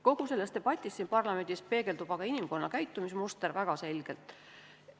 Kogu selles debatis siin parlamendis peegeldub aga inimkonna käitumismuster väga selgelt.